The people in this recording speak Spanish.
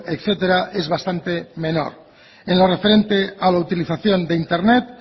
etcétera es bastante menor en lo referente a la utilización de internet